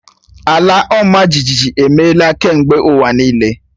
Ala ọmajiji emeela kemgbe ụwa niile.